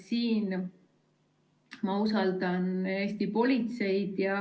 Mina usaldan Eesti politseid.